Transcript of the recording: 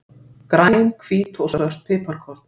Græn, hvít og svört piparkorn.